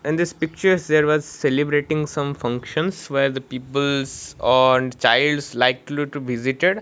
in this picture there was celebrating some functions where the peoples and childs likely to visited.